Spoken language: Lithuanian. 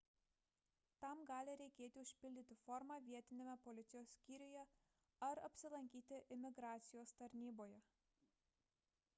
tam gali reikėti užpildyti formą vietiniame policijos skyriuje ar apsilankyti imigracijos tarnyboje